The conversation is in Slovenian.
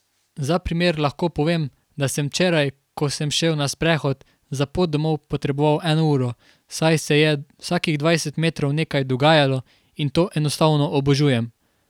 Za primer lahko povem, da sem včeraj, ko sem šel na sprehod, za pot domov potreboval eno uro, saj se je vsakih dvajset metrov nekaj dogajalo in to enostavno obožujem.